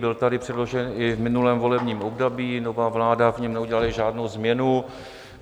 Byl tady předložen i v minulém volebním období, nová vláda v něm neudělala žádnou změnu.